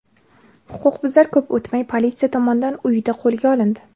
Huquqbuzar ko‘p o‘tmay politsiya tomonidan uyida qo‘lga olindi.